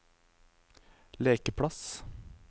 lekeplass